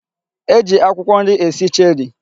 E ji akwụkwọ nri esi cherie.